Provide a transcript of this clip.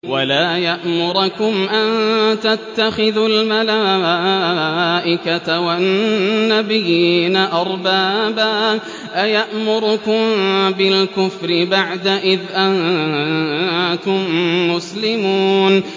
وَلَا يَأْمُرَكُمْ أَن تَتَّخِذُوا الْمَلَائِكَةَ وَالنَّبِيِّينَ أَرْبَابًا ۗ أَيَأْمُرُكُم بِالْكُفْرِ بَعْدَ إِذْ أَنتُم مُّسْلِمُونَ